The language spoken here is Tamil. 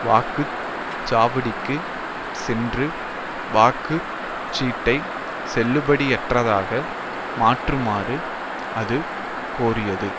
வாக்கு சாவடிக்குச் சென்று வாக்கு சீட்டை செல்லுபடியற்றதாக மாற்றுமாறு அது கோரியது